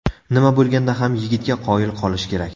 Nima bo‘lganda ham, yigitga qoyil qolish kerak.